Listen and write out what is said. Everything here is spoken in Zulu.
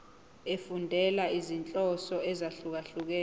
efundela izinhloso ezahlukehlukene